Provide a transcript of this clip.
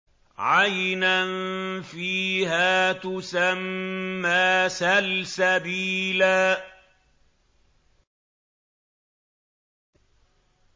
عَيْنًا فِيهَا تُسَمَّىٰ سَلْسَبِيلًا